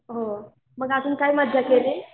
हो मग अजून काय मज्जा केली?